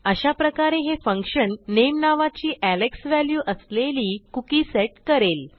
अशा प्रकारे हे फंक्शन नामे नावाची एलेक्स व्हॅल्यू असलेली कुकी सेट करेल